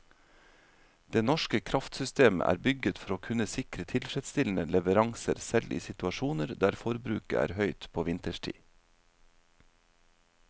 Det norske kraftsystemet er bygget for å kunne sikre tilfredsstillende leveranser selv i situasjoner der forbruket er høyt på vinterstid.